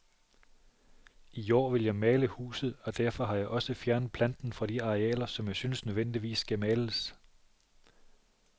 I år vil jeg male huset, og derfor har jeg også fjernet planten fra de arealer, som jeg synes nødvendigvis skal males.